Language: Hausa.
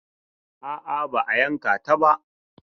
A'a, ba a yanka ta ba.